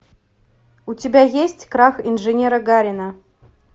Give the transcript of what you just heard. у тебя есть крах инженера гарина